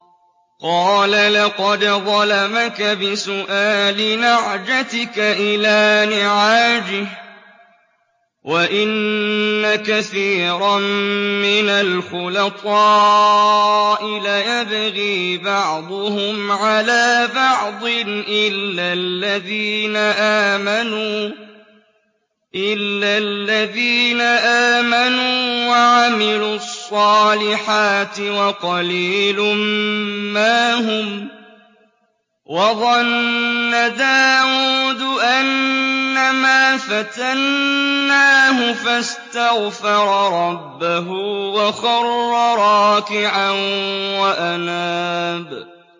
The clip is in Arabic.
قَالَ لَقَدْ ظَلَمَكَ بِسُؤَالِ نَعْجَتِكَ إِلَىٰ نِعَاجِهِ ۖ وَإِنَّ كَثِيرًا مِّنَ الْخُلَطَاءِ لَيَبْغِي بَعْضُهُمْ عَلَىٰ بَعْضٍ إِلَّا الَّذِينَ آمَنُوا وَعَمِلُوا الصَّالِحَاتِ وَقَلِيلٌ مَّا هُمْ ۗ وَظَنَّ دَاوُودُ أَنَّمَا فَتَنَّاهُ فَاسْتَغْفَرَ رَبَّهُ وَخَرَّ رَاكِعًا وَأَنَابَ ۩